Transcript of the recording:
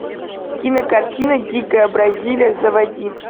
кинокартина дикая бразилия заводи